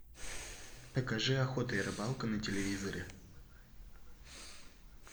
покажи охота и рыбалка на телевизоре